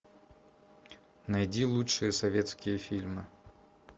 найди лучшие советские фильмы